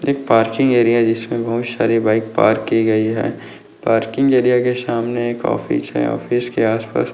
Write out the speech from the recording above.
एक parking area जिसमे बहुत सारे बाइक पार्क की गयी है पार्किंग एरिया के सामने एक ऑफिस है ऑफिस के आस पास --